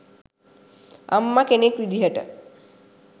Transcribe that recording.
අම්මා කෙනෙක් විදියට